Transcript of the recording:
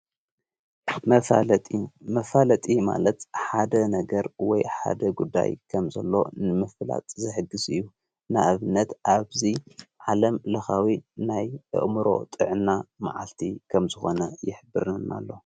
መፋለጢ ማለት ሓደ ነገር ወይ ሓደ ጉዳይ ከም ዘሎ ምፍላጥ ዘሕግሥ እዩ ናእብነት ኣብዙይ ዓለምልኻዊ ናይ አእምሮ ጥዕና መዓልቲ ኸም ዝኾነ ይኅብርና ኣሎ፡፡